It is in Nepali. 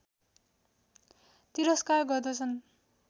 तिरस्कार गर्दछन्।